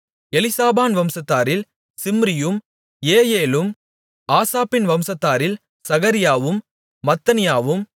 எலிசாபான் வம்சத்தாரில் சிம்ரியும் ஏயெலும் ஆசாப்பின் வம்சத்தாரில் சகரியாவும் மத்தனியாவும்